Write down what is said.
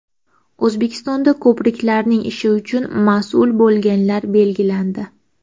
O‘zbekistonda Ko‘priklarning ishi uchun mas’ul bo‘lganlar belgilandi.